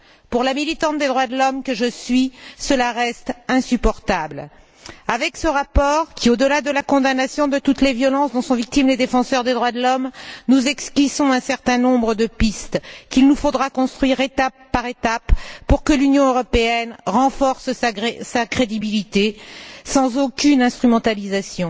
Pour la militante des droits de l'homme que je suis, cela reste insupportable. Avec ce rapport, au delà de la condamnation de toutes les violences dont sont victimes les défenseurs des droits de l'homme, nous esquissons un certain nombre de pistes qu'il nous faudra construire étape par étape pour que l'Union européenne renforce sa crédibilité sans aucune instrumentalisation.